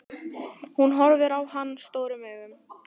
Hún horfir á hana stórum augum.